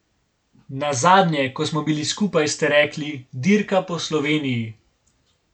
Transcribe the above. Nazadnje, ko smo bili skupaj, ste rekli, Dirka po Sloveniji.